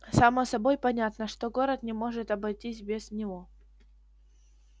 само собой понятно что город не может обойтись без него